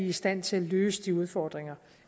i stand til at løse de udfordringer